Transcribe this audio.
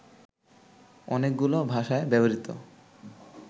অনেকগুলো ভাষায় ব্যবহৃত